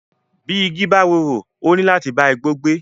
Bí igi bá rorò, ó níláti bá igbó gbé.